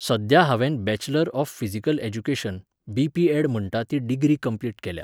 सध्या हांवेन bachelor of physical education, BPEd. म्हणटा ती डिग्री कम्प्लीट केल्या